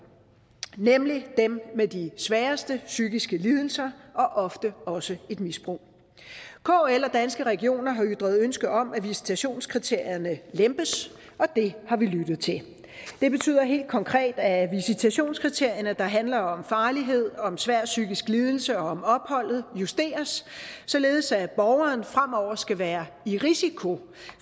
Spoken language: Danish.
nemlig dem med de sværeste psykiske lidelser og ofte også et misbrug kl og danske regioner har ytret ønske om at visitationskriterierne lempes og det har vi lyttet til det betyder helt konkret at visitationskriterierne der handler om farlighed og om svær psykisk lidelse og om opholdet justeres således at borgeren fremover skal være i risiko